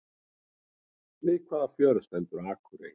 Við hvaða fjörð stendur Akurey?